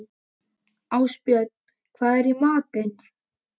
Ástbjörn, hvað er í matinn?